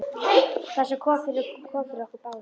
Það sem kom fyrir, kom fyrir okkur báða.